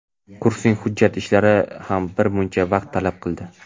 kursning hujjat ishlari ham bir muncha vaqt talab qildi.